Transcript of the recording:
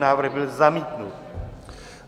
Návrh byl zamítnut.